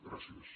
gràcies